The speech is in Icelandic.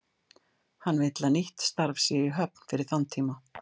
Hann vill að nýtt starf sé í höfn fyrir þann tíma.